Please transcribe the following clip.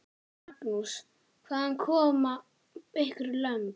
Magnús: Hvaðan koma ykkar lömb?